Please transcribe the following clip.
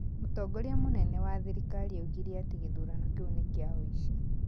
Mũtongoria mũnene wa thirikari oigire atĩ gĩthurano kĩu nĩ kĩa ũici